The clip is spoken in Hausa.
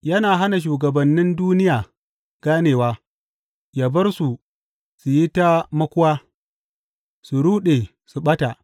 Yana hana shugabannin duniya ganewa; Ya bar su su yi ta makuwa, su ruɗe, su ɓata.